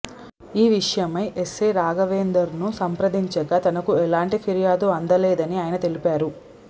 ఈ విషయమై ఎస్సై రాఘవేందర్ను సంప్రదించగా తనకు ఎలాంటి ఫిర్యాదు అందలేదని ఆయన తెలిపారు